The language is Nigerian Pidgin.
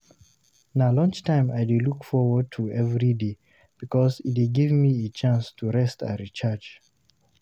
Na lunchtime I dey look forward to every day because e dey give me a chance to rest and recharge.